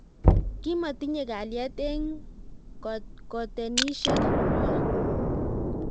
kimotinyei kalyet eng koteinisiek nywa